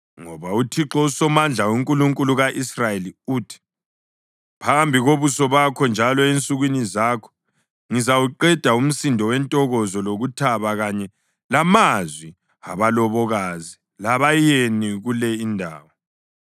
Ngoba uThixo uSomandla, uNkulunkulu ka-Israyeli, uthi: Phambi kobuso bakho njalo ensukwini zakho ngizawuqeda umsindo wentokozo lokuthaba kanye lamazwi abalobokazi labayeni kule indawo.